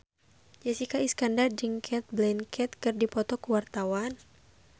Jessica Iskandar jeung Cate Blanchett keur dipoto ku wartawan